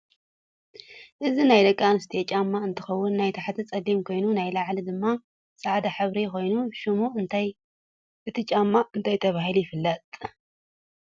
እዚ ናይ ደቂ አንስትዮ ጫማ እንትከውን ናይ ታሕቲ ፀሊም ኮይኑ ናይ ላዒሉ ድማ ፃዐዳ ሕብሪ ኮይኑ ሸሙ እቲ ጫማ እንታይ ተባህሉ ይፈለጥ?